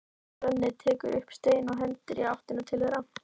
Svenni tekur upp stein og hendir í áttina til þeirra.